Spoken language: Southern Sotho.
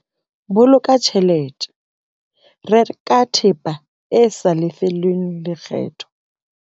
Boloka tjhelete- Reka thepa e sa lefellweng lekgetho.